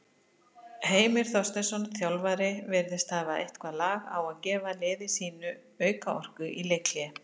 Heimir Þorsteinsson, þjálfari virðist hafa eitthvað lag á gefa liði sínu auka orku í leikhléi.